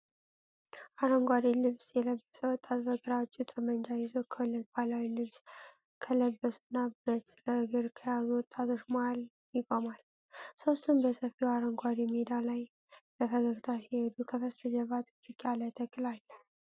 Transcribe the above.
አረንጓዴ ልብስ የለበሰ ወጣት በግራ እጁ ጠመንጃ ይዞ፣ ከሁለት ባህላዊ ልብስ ከለበሱና በትረ-እግር ከያዙ ወጣቶች መሀል ይቆማል። ሦስቱም በሰፊው አረንጓዴ ሜዳ ላይ በፈገግታ ሲሄዱ፣ ከበስተጀርባ ጥቅጥቅ ያለ ተክል አለ።